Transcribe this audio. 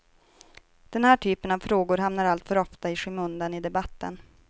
Den här typen av frågor hamnar alltför ofta i skymundan i debatten.